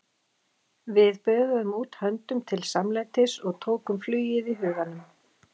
Við böðuðum út höndum til samlætis- og tókum flugið í huganum.